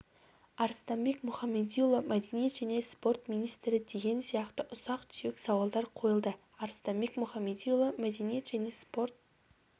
арыстанбек мұхамедиұлы мәдениет және спорт министрі деген сияқты ұсақ-түйек сауалдар қойылды арыстанбек мұхамедиұлы мәдениет және спорт